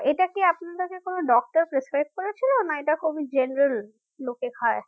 এটা কি আপনাকে কোন doctor prescribe করেছিল না এটা খুবই general লোকে খায়